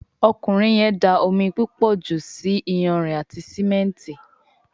Ọkùnrin yén dá omí púpọ jù ṣì iyanrìn àti simẹnti.